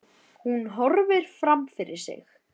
Hún horfir fram fyrir sig.